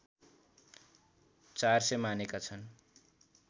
४०० मानेका छन्